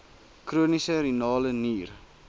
chroniese renale nier